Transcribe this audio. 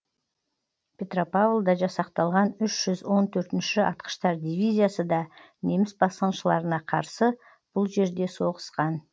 петропавлда жасақталған үш жүз он төртінші атқыштар дивизиясы да неміс басқыншыларына қарсы бұл жерде соғысқан